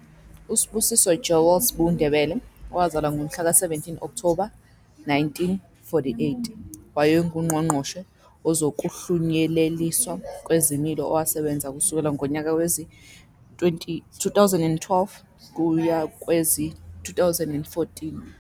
USibusiso Joel "S'bu" Ndebele, owazalwa ngomhlaka 17 Okthoba 1948, wayenguNgqongqoshe Wezokuhlunyeleliswa Kwezimilo owasebenza kusukela ngonyaka wezi-2012 kuya kowezi-2014.